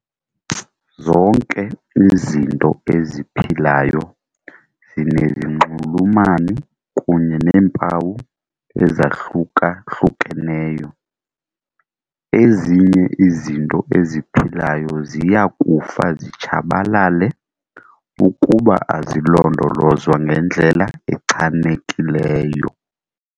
Zonke izinto eziphilayo zinezinxulumani kunye neempawu ezahluka-hlukeneyo. Ezinye izinto eziphilayo ziya kufa zitshabalale ukuba azilondolozwa ngendlela echanekileyo.